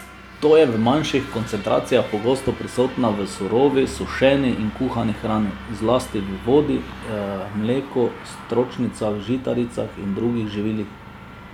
Ta je v manjših koncentracijah pogosto prisotna v surovi, sušeni in kuhani hrani, zlasti v vodi, mleku, stročnicah, žitaricah in drugih živilih.